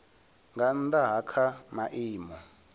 nga nnda ha kha maimo